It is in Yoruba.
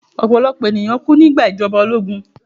Ọ̀pọ̀lọ̀pọ̀ ènìyàn kú nígbà ìjọba ológun